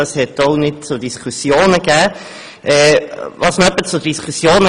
Das gab zu keinerlei Diskussionen Anlass.